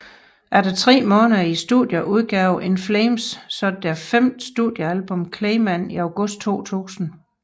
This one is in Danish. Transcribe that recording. Efter tre måneder i studiet udgav In Flames så deres femte studiealbum Clayman i august 2000